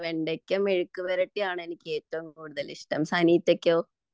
വെണ്ടയ്ക്ക മെഴുക്കു പുരട്ടി ആണ് എനിക്ക് ഏറ്റവും കൂടുതൽ ഇഷ്ടം സനീഷക്കൊ